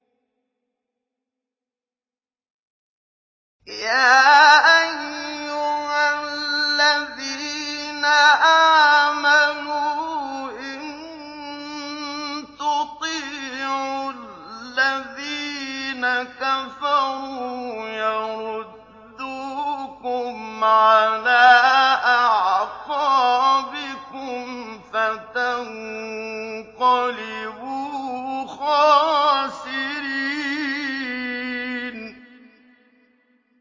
يَا أَيُّهَا الَّذِينَ آمَنُوا إِن تُطِيعُوا الَّذِينَ كَفَرُوا يَرُدُّوكُمْ عَلَىٰ أَعْقَابِكُمْ فَتَنقَلِبُوا خَاسِرِينَ